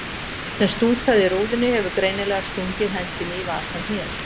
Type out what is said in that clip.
Sá sem stútaði rúðunni hefur greinilega stungið hendinni í vasann hér.